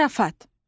Zarafat.